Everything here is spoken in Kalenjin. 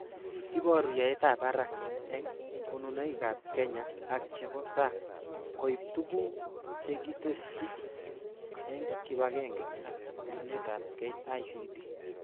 Iboru yaetab barak eng konunoikab Kenya ak chebo sang koib tuguk chekitesyi eng kibagenge ak konunetab KICD